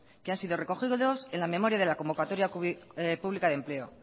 que han sido recogidos en la memoria de la convocatoria pública de empleo